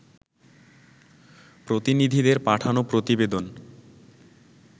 প্রতিনিধিদের পাঠানো প্রতিবেদন